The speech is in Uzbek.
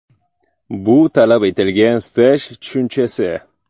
Bu talab etilgan staj tushunchasi.